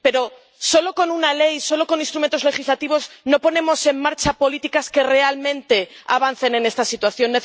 Pero solo con una ley, solo con instrumentos legislativos no ponemos en marcha políticas que realmente avancen en esta situación.